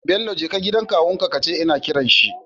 Bello jeka gidan kawun ka kace ina kiran shi